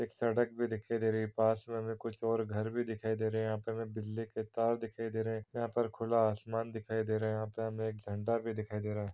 एक सड़क भी दिखे दे रही है पास मे हमें कुछ ओर घर भी दिखाई दे रहे है यह पे बिजली के तार दिखाई दे रहे है यहाँ पर खुला आसमान दिखाई दे रहा है यहाँ पे हमें एक झंडा भी दिखाई दे रहा हैं।